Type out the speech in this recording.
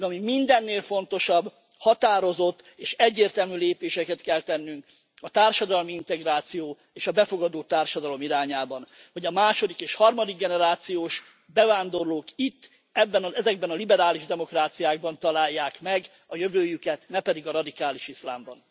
De ami mindennél fontosabb határozott és egyértelmű lépéseket kell tennünk a társadalmi integráció és a befogadó társadalom irányában, hogy a második és harmadik generációs bevándorlók itt, ezekben a liberális demokráciákban találják meg a jövőjüket, ne pedig a radikális iszlámban.